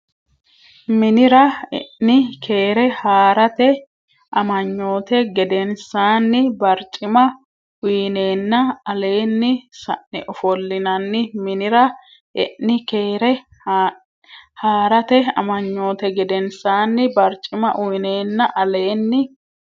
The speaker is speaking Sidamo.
Minira e ni Keere Haa rate Amanyoote gedensaanni barcima uyneenna aleenni sa ne ofollinanni Minira e ni Keere Haa rate Amanyoote gedensaanni barcima uyneenna aleenni.